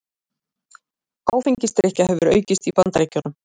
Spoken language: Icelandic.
Áfengisdrykkja hefur aukist í Bandaríkjunum